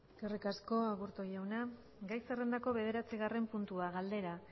eskerrik asko aburto jauna gai zerrendako bederatzigarren puntua galdera